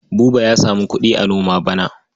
Buba ya samu kuɗi a noma bana.